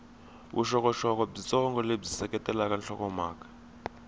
vuxokoxoko byitsongo lebyi seketelaka nhlokomhaka